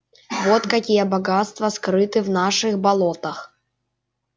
вот какие богатства скрыты в наших болотах